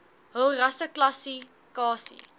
hul rasseklassi kasie